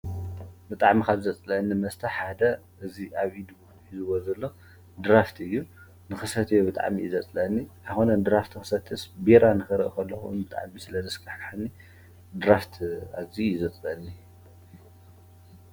ብጣዕሚ ካብ ዘፅለአኒ ሓደ እዚ ኣብ ኢዱ ሒዝዎ ዘሎ ድራፍትን እዩ። ንክሰትዮ ብጣዕሚ እዩ ዘፅለአኒ። ኣይኮነን ድራፍት ክሰትስ ቢራ ንክሪኢ ከለኩ እውን ብጣዕሚ ስለ ዘስካህከሐኒ ድራፍት ኣዙይ እዩ ዘፅለኣኒ።